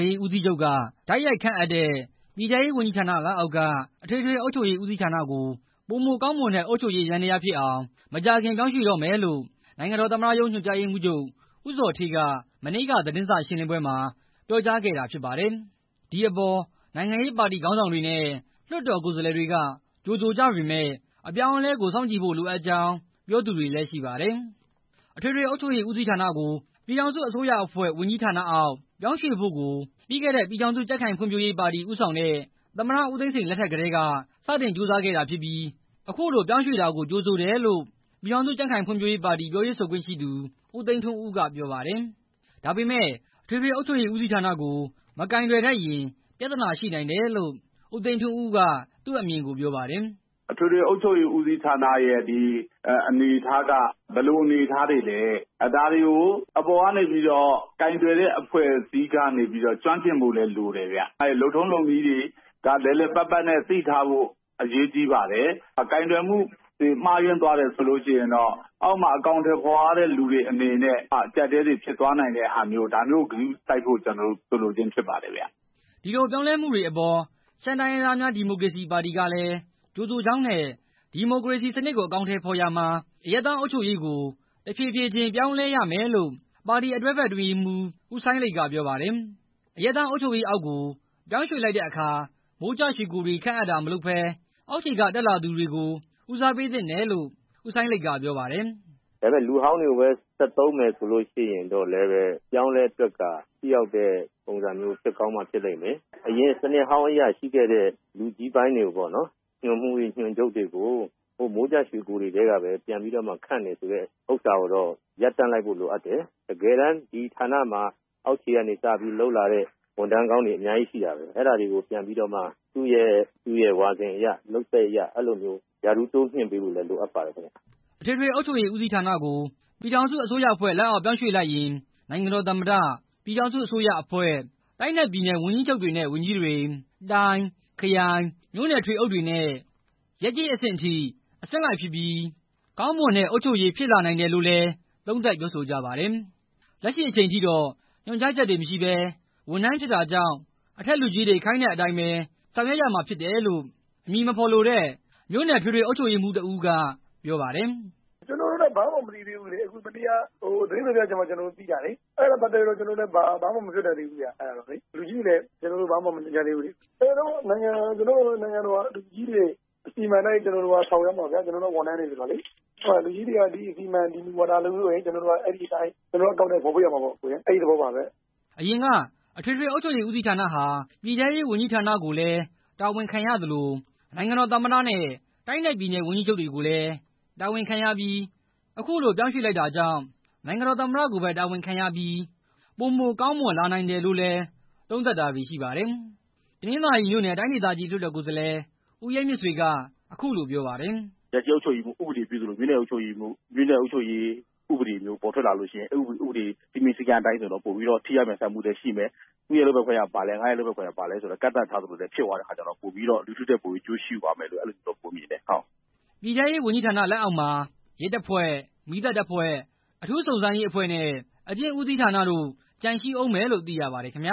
ေးဦးစီးချုပ်က တိုက်ရိုက်ခန့်အပ်တဲ့ ပြည်ထဲရေးဝန်ကြီးဌာနလက်လောက်ရှိ အထွေထွေအုပ်ချုပ်ရေးဦးစီးဌာနကို ပိုမိုကောင်းမွန်တဲ့ အုပ်ချုပ်ရေးယန္တရားဖြစ်အောင် မကြာခင် ရွှေ့ပြောင်းတော့မယ်လို့ နိုင်ငံတော် သမ္မတရုံး ညွှန်ကြားရေးမှူးချုပ် ဦးဇော်ဌေးက မနေ့က သတင်းစာရှင်းလင်းပွဲမှာ ပြောကြားခဲ့တာဖြစ်ပါတယ်။ ဒီအပေါ်မှာ နိုင်ငံရေးပါတီ ခေါင်းဆောင်တွေနဲ့ လွှတ်တော် ကိုယ်စားလှယ်တွေက ကြိုဆိုကြပေမယ့် အပြောင်းအလဲကို စောင့်ကြည်ဖို့ လိုအပ်ကြောင်း ပြောသူတွေလည်း ရှိပါတယ်။ အထွေထွေအုပ်ချုပ်ရေးဦးစီးဌာနကို ပြည်ထောင်စုအစိုးရအဖွဲ့ ဝန်ကြီးဌာနအောက်ကို ပြောင်းရွှေ့ဖို့ ကို ပြီးခဲ့တဲ့ ပြည်ထောင်စုကြံ့ခိုင်ဖွံ့ဖြိုးရေးပါတီ ဦးဆောင်တဲ့ သမ္မတ ဦးသိန်းစိန် လက်ထက်ကတည်းက စတင်ကြိုးစားခဲ့တာဖြစ်ပြီး အခုလို ပြောင်းရွေလိုက်တာကို ကြိုဆိုတယ်လို့ ပြည်ထောင်စုကြံ့ခိုင်ဖွံ့ဖြိုးရေးပါတီ ပြောရေးဆိုခွင့်ရှိသူ ဦးသိန်းထွန်းဦးက ပြောပါတယ်။ ဒါပေမဲ့ အထွေထွေအုပ်ချုပ်ရေးဦးစီးဌာနက မကိုင်တွယ်တတ်ရင် ပြဿနာရှိနိုင်တယ်လို့ ဦးသိန်းထွန်းဦးက သူ့အမြင်ကို ပြောပါတယ်။ "အထွေထွေအုပ်ချုပ်ရေး ဦးစီးဌာနရဲ့အနေအထားက ဘယ်လိုအနေအထားတွေလည်း ဒါတွေကို အပေါ်ကနေ ကိုင်တွယ်တဲ့အဖွဲ့အစည်းက ကျွမ်းကျင်ဖို့လည်း လိုတယ်။ လုပ်ထုံးလုပ်နည်းတွေ လည်လည်ပတ်ပတ် သိထားဖို့ အရေးကြီးပါတယ်။ ကိုင်တွယ်မှုတွေ မှားယွင်းသွားတယ်ဆိုရင်တော့ အောက်မှာ အကောင်ထည်ဖော်ရတဲ့ လူတွေအနေနဲ့ အကျပ်အတည်းတွေ ဖြစ်သွားနိုင်တဲ့ အခြေအနေတွေကို နားလည်ဖို့ ဆိုလိုခြင်းဖြစ်ပါတယ်" ဒီလို ပြောင်းလဲမှုတွေအပေါ် ရှမ်းတိုင်းရင်းသားများ ဒီမိုကရေစီပါတီကလည်း ကြိုဆိုကြောင်းနဲ့ ဒီမိုကရေစီစနစ်ကို အကောင်ထည်ဖော်ရာမှာ အရပ်သားအုပ်ချုပ်ရေးကို တဖြည်းဖြည်း ပြောင်းလည်းရမယ်လို့ ပါတီ တွဲဖက်အတွင်းရေးမှူး ဦးစိုင်းလိတ် က ပြောပါတယ်။ အရပ်သားအုပ်ချုပ်ရေးအောက်ကို ပြောင်းရွေ့လိုက်တဲ့အခါ မိုးကျရွှေကိုယ်တွေ ခန့်အပ်တာတွေမလုပ်ဘဲ အောာက်ခြေက တတ်တဲ့လူတွေကို ဦးစားပေးသင့်တယ်လို့ ဦးစိုင်းလိတ်က ပြောပါတယ်။ "လူဟောင်းတွေကိုပဲ ဆက်သုံးနေမယ်ဆိုရင်တော့ အပြောင်းအလဲအတွက်က ထိရောက်တဲ့ ပုံစံမျိုး ဖြစ်ကောင်းမှဖြစ်လိမ့်မယ် အရင်စနစ်အဟောင်းအရ ရှိခဲ့တဲ့ လူကြီးပိုင်းတွေ ညွှန်မှူးတွေ၊ ညွှန်ချုပ်တွေကို မိုးကျရွှေကိုတွေထဲကပဲ ပြန်ခန့်တယ် ဆိုတဲ့ဟာမျိုးကတော့ ရပ်တန့်လိုက်ဖို့ လိုအပ်တယ်။ တကယ်တမ်း ဒီဌာနမှာ အောက်ခြေကနေစပြီး လုပ်လာတဲ့ ဝန်ထမ်းကောင်းတွေ အများကြီးရှိတာပဲ။ အဲဒီကိုပြန်ပြီးတော့မှ သူရဲ့ လုပ်သက်အရ ရာထူးတိုးမြှင့်ပေးဖို့လည်း လိုအပ်ပါတယ်" အထွေထွေအုပ်ချုပ်ရေး ဦးစီးဌာနကို ပြည်ထောင်စုအစိုးရအဖွဲ့ပြောင်းရွေလိုက်ရင် နိုင်ငံတော်သမ္မတ၊ ပြည်ထောင်စု အစိုးရအဖွဲ့၊ တိုင်းနဲ့ ပြည်နယ် ဝန်ကြီးချုပ်တွေနဲ့ ဝန်ကြီးတွေ၊ တိုင်း၊ ခရိုင်၊ မြို့နယ် ထွေအုပ်တွေနဲ့ ရပ်ကျေးအဆင့်ထိဖြစ်ပြီး အဆင့်လိုက်ဖြစ်ပြီး ကောင်းမွန်တဲ့ အုပ်ချုပ်ရေး ဖြစ်လာနိုင်တယ်လို့လည်း သုံးသပ်ပြောဆိုကြပါတယ်။ လက်ရှိအချိန်ထိတော့ ညွှန်ကြားချက်တွေမရှိဘဲ ဝန်ထမ်းဖြစ်တာကြောင့် အထက်လူကြီးတွေ ခိုင်းတဲ့အတိုင်းဘဲ ဆောင်ရွက်ရမှာပေါလို့ အမည်မဖော်လို့တဲ့ အထွေထွေ အုပ်ချုပ်ရေးဦးစီးမှူးက ပြောပါတယ်။ "ကျနော်တို့လည်း ဘာမှမသိသေးဘူးလေ။ မနေ့က သတင်းစာရှင်းလင်းပွဲမှ သိတာ။ အဲတာနဲ့ပတ်သက်ပြီး ဘာမှပြောလို့မရသေးဘူးဗျ။ လူကြီးတွေလည်း ဘာမှမညွှန်ကြားသေးဘူး။ ကျနော်တို့ကတော့ နိုင်ငံတော်က လူကြီးတွေ အစီအမံတိုင်း ဆောင်ရွက်မှာပါ။ ကျနော်တို့က ဝန်ထမ်းတွေဆိုတော့ လူကြီးတွေက ဒီအစီအမံအတိုင်း အကောင်ထည်ဖော်ဆိုရင် အကောင်ထည်ဖော်ရမှာပေါ့" အရင်က အထွေထွေအုပ်ချုပ်ရေး ဦးစီးဌာဟာ ပြည်ထဲရေးဝန်ကြီးဌာနကိုလည်း တာဝန်ခံရသလို့ နိုင်ငံတော် သမ္မတနဲ့ တိုင်းနဲ့ပြည်နယ်က ဝန်ကြီးချုပ်တွေကိုလည်း တာဝန်ခံရပြီး အခုလို ပြောင်းလိုက်တာကြောင့် နိုင်ငံတော် သမ္မတ ကိုပဲ တာဝန်ခံရပြီး ပိုမိုကောင်းမွန်လာနိုင်တယ်လို့လည်း သုံးသပ်တာတွေရှိပါတယ်။ တနင်္သာရီမြို့နယ် တိုင်းဒေသကြီး လွှတ်တော် ကိုယ်စားလှယ် ဦးရဲမြင့်ဆွေက အခုလိုပြောပါတယ်။ "ရပ်ကျေးအုပ်ချုပ်ရေးမှူး ဥပဒေပြုသလိုမျိုး မြို့နယ်အုပ်ချုပ်ရေးမှူး ဥပဒေပြုမျိုး ပေါ်ထွက်လာရင် စည်းမျဉ်းစည်းကမ်းအတိုင်းဆို ထိရောက်လျင်မြန်မှုရှိမယ်။ သူရဲ့လုပ်ပိုင်ခွင့်ကဘာ ငါရဲ့လုပ်ပိုင်ကဘာလည်း ကန့်သတ်ထားသလို ဖြစ်တာကြောင့် လူထုအတွက် ပိုပြီးအကျိုးရှိလိမ့်မယ်လို့ထင်တယ်" ပြည်ထဲရေးဝန်ကြီးဌာန အောက်မှာတော့ ရဲတပ်ဖွဲ့၊ မီးသတ်တပ်ဖွဲ့၊ အထူးစုံစမ်းရေးအဖွဲ့နဲ့ အကျဉ်းဦးစီးဌာနတို့ ကျန်ရှိဦးမယ်လို့ သိရပါတယ်ခင်ဗျ